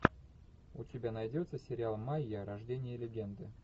у тебя найдется сериал майя рождение легенды